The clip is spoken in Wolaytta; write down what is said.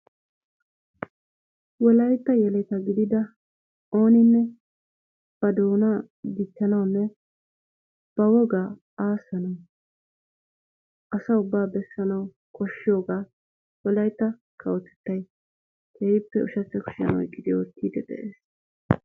Wolaytta yeletta gidida ooninne ba doonaa dichchanawunne ba wogaa aassanawu asa ubbaa bessanwu koshshiyoogaa wolaytta kawotettay keehippe ushshachcha kushshiyaan oyqqidi oottidi de'es.